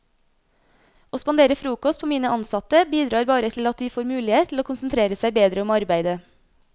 Å spandere frokost på mine ansatte bidrar bare til at de får mulighet til å konsentrere seg bedre om arbeidet.